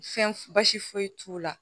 Fɛn basi foyi t'u la